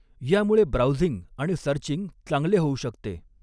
यामुळे ब्राउझिंग आणि सर्चिंग चांगले हॊऊ शकतॆ.